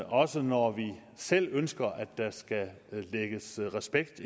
også når vi selv ønsker at der skal stå respekt